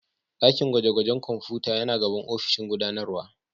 Dakin gwaje-gwajen kwamfuta yana gaban ofishin gudanarwa